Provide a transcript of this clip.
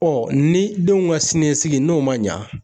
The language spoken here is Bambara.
ni denw ka siniɲɛsigi n'o ma ɲa